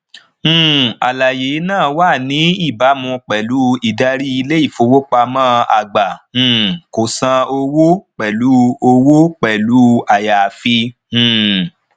um àlàyé náà wà ní ìbámu pẹlú ìdarí ilé ifowópamọ àgbà um kò san owó pẹlu owó pẹlu ayaafi um